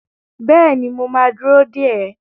Bẹ́ẹ̀ni, mo ma dúró dè ẹ́